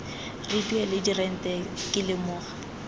re duela dirente ke lemoga